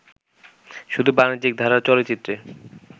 শুধু বাণিজ্যিক ধারার চলচ্চিত্রে